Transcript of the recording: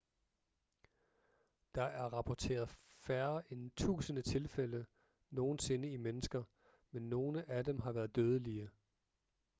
der er rapporteret færre end tusinde tilfælde nogensinde i mennesker men nogle af dem har været dødelige